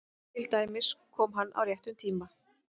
Til dæmis: Kom hann á réttum tíma?